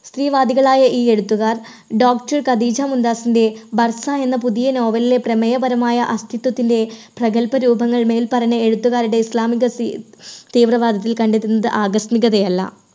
സ്ത്രീ വാദികളായ ഈ എഴുത്തുകാർ doctor ഖദീജ മുംതാസിന്റെ ഭർത്താവ് എന്ന പുതിയ novel ലിലെ പ്രമേയപരമായ അസ്ഥിത്വത്തിന്റെ പ്രഗൽഭരൂപങ്ങൾ മേൽപ്പറഞ്ഞ എഴുത്തുകാരുടെ islamic തീ തീവ്രവാദത്തിൽ കണ്ടെത്തുന്നത് ആകസ്മികതയല്ല.